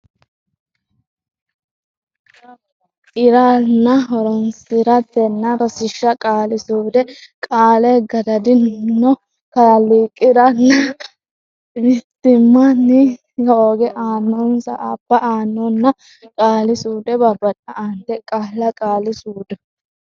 i ra nna horonsi ratenna Rosiishsha Qaali suude Qaale gadad anno kalaq i ra nna mitt imma nni hoog anno nsa abb anno nna Qaali suude Babbada Aante qaalla qaali suudu.